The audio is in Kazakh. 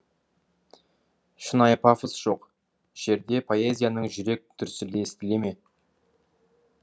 шынайы пафос жоқ жерде поэзияның жүрек дүрсілі естілеме